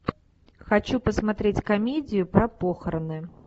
хочу посмотреть комедию про похороны